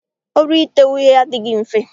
Ọrụ ite uhie adịghị mfe.